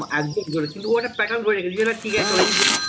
একদম কিন্তু ও একটা pattern ধরে রেখে দিয়েছে যেটা টিকে আছে চলো এই যে